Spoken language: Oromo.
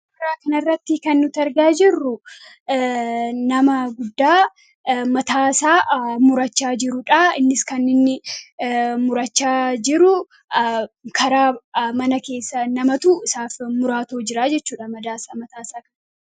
Suura kanarratti kan nuti argaa jirru nama guddaa mataasaa murachaa jiruudha innis kan inni murachaa jiruu karaa mana keessa namatu isaaf muraa jira jechuudha mataasaa.